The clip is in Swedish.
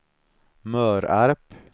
Mörarp